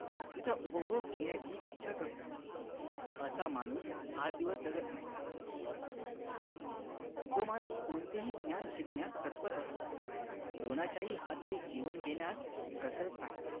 तिचा उपभोग घेण्याची इच्छा करतो असा माणूस फार दिवस जगत नाही जो माणूस कोणतेही ज्ञान शिकण्यास तत्पर असतो कोणाचे हातचे जेवण घेण्यास कचरत नाही